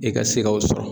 I ka se k'o sɔrɔ